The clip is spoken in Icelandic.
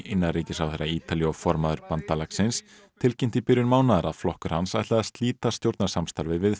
innanríkisráðherra Ítalíu og formaður bandalagsins tilkynnti í byrjun mánaðar að flokkur hans ætlaði að slíta stjórnarsamstarfi við